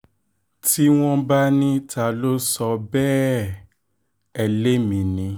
tí wọ́n bá ní ta ló sọ bẹ́ẹ̀ ẹ́ lémi ni